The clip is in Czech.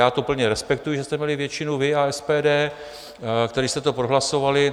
Já to plně respektuji, že jste měli většinu vy a SPD, kteří jste to prohlasovali.